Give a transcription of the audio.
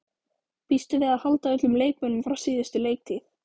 Býstu við að halda öllum leikmönnum frá síðustu leiktíð?